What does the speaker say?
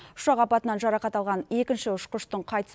ұшақ апатынан жарақат алған екінші ұшқыштың қайтыс